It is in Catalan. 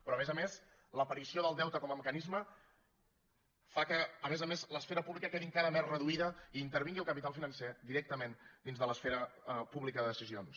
però a més a més l’aparició del deute com a mecanisme fa que a més a més l’esfera pública quedi encara més reduïda i intervingui el capital financer directament dins de l’esfera pública de decisions